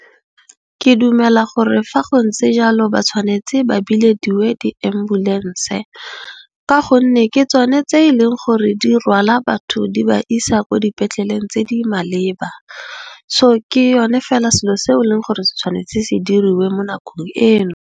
Ke dumela gore fa go ntse jalo ba tshwanetse ba bilediwe di ambulense ka gonne, ke tsone tse e leng gore di rwala batho di ba isa ko dipetleleng tse di maleba. Ke sone fela selo se e leng gore se tshwanetse se diriwe mo nakong eno.